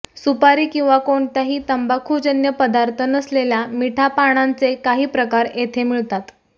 सुपारी किंवा कोणत्याही तंबाखुजन्य पदार्थ नसलेल्या मिठा पानांचे काही प्रकार येथे मिळतात